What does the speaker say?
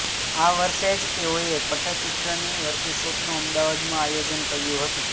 આ વર્ષે જ તેઓએ પટ્ટચિત્રની વર્કશોપનું અમદાવાદમાં આયોજન કર્યું હતું